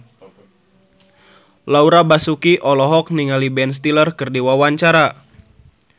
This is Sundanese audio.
Laura Basuki olohok ningali Ben Stiller keur diwawancara